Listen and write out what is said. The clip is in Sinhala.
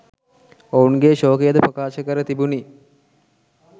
ඔවුන්ගේ ශෝකයද ප්‍රකාශ කර තිබුණි